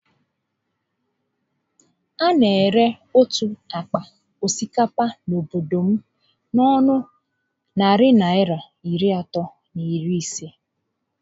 A na ere otu ágbá osikapa n'obodo anyị n'ọnụ narị Naịra iri atọ na iri isé